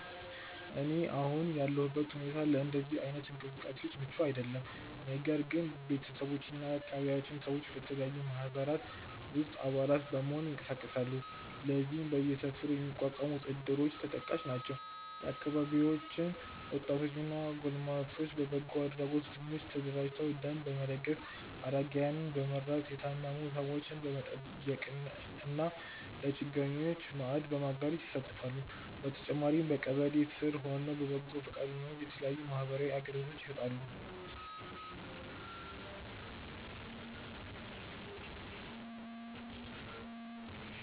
እኔ አሁን ያለሁበት ሁኔታ ለእንደዚህ አይነት እንቅስቃሴዎች ምቹ አይደለም። ነገር ግን ቤተሰቦቼ እና የአካባቢያችን ሰዎች በተለያዩ ማህበራት ውስጥ አባላት በመሆን ይንቀሳቀሳሉ። ለዚህም በየሰፈሩ የሚቋቋሙት እድሮች ተጠቃሽ ናቸው። የአካባቢያችን ወጣቶች እና ጎልማሶች በበጎ አድራጎት ቡድኖች ተደራጅተው ደም በመለገስ፣ አረጋውያንን በመርዳት፣ የታመሙ ሰዎችን በመጠየቅ እና ለችግረኞች ማዕድ በማጋራት ይሳተፋሉ። በተጨማሪም በቀበሌ ስር ሆነው በበጎ ፈቃደኝነት የተለያዩ ማህበራዊ አገልግሎቶችን ይሰጣሉ።